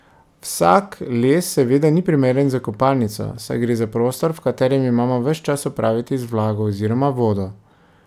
Vsak les seveda ni primeren za kopalnico, saj gre za prostor, v katerem imamo ves čas opraviti z vlago oziroma vodo.